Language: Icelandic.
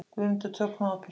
GUÐMUNDUR: Tökum á, piltar.